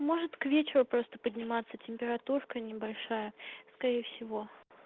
может к вечеру просто подниматься температурка небольшая скорее всего